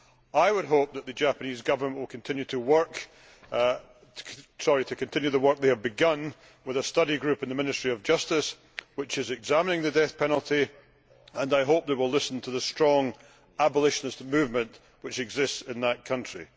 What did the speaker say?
I would hope that the Japanese Government will continue the work they have begun, with a study group in the Ministry of Justice which is examining the death penalty, and I hope they will listen to the strong abolitionist movement which exists in that country.